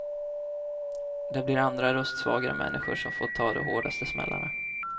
Det blir andra röstsvagare människor som får ta de hårdaste smällarna.